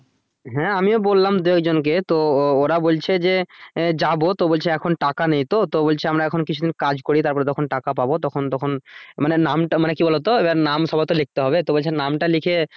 হ্যাঁ আমিও বললাম দুই একজন কে তো ওরা বলছে যে আহ যাবো তো বলছে এখন টাকা নেইতো তো বলছে আমরা এখন কিছুদিন কাজ করি তারপরে যখন টাকা পাবো তখন তখন মানে নামটা কি বলো তো এবার নাম সম্ভবত লিখতে তো বলছে নাম টা লিখে